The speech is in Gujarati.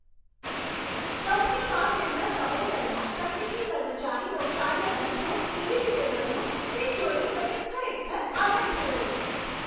કંપનીમાં તેમના સમય દરમિયાન તકનીકી કર્મચારીનો કાર્ય અનુભવ કેવી રીતે વધ્યો તે જોઈને મને ખરેખર આનંદ થયો.